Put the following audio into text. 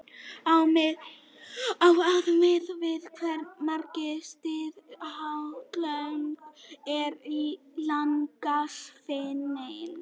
á að miða við hversu margar síður skattalögin eru í lagasafninu